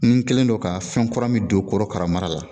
N kɛlen don ka fɛn kura min don korokara mara la